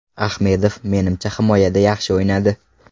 Ahmedov, menimcha, himoyada yaxshi o‘ynadi.